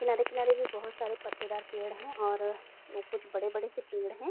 किनारे-किनारे भी बहोत सारे पत्तेदार पेड़ है और ओ कुछ बड़े-बड़े से पेड़ हैं।